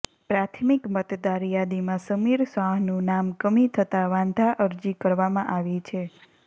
પ્રાથમિક મતદાર યાદીમાં સમીર શાહનું નામ કમી થતા વાંધા અરજી કરવામાં આવી છે